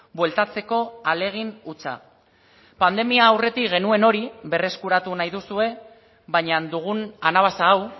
bueltatzeko ahalegin hutsa pandemia aurretik genuen hori berreskuratu nahi duzue baina dugun anabasa hau